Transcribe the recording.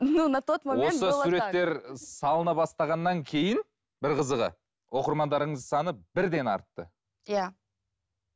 осы суреттер салына бастағаннан кейін бір қызығы оқырмандарыңыздың саны бірден артты иә